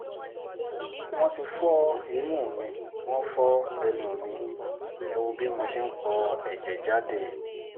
wọ́n ti fọ imú mi wọ́n fọ ẹnu mi ẹ̀ wò bí mo ṣe ń po ẹ̀jẹ̀ jáde